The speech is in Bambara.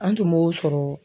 An tun b'o sɔrɔ.